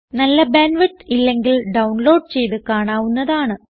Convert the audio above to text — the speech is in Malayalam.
നല്ല ബാൻഡ് വിഡ്ത്ത് ഇല്ലെങ്കിൽ ഡൌൺലോഡ് ചെയ്ത് കാണാവുന്നതാണ്